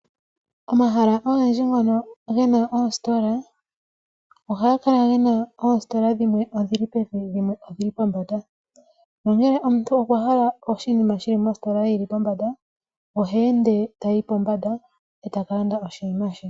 Omahala ogendji ngono gena oositola ohaga kala gena oositola dhimwe odhili pevi dhimwe odhili pombanda. Onkene ngele omuntu okwa hala oshinima shili positola yili pombanda ohe ende etayi pombanda etaka landa oshinima she.